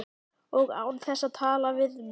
Og án þess að tala við mig!